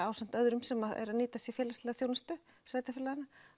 ásamt öðrum sem eru að nýta sér félagslega þjónustu sveitarfélaganna